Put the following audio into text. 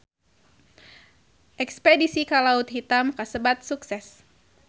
Espedisi ka Laut Hitam kasebat sukses